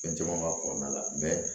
Fɛn caman ka kɔnɔna la